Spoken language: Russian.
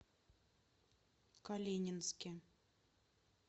калининске